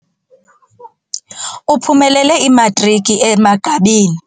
Uphumelele imatriki emagqabini.